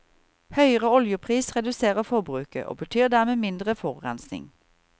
Høyere oljepris reduserer forbruket, og betyr dermed mindre forurensning.